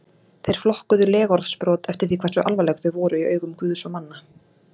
Þeir flokkuðu legorðsbrot eftir því hversu alvarleg þau voru í augum guðs og manna.